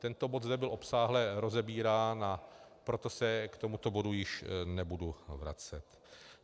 Tento bod zde byl obsáhle rozebírán, a proto se k tomuto bodu již nebudu vracet.